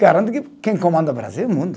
Garanto que quem comanda o Brasil é o mundo.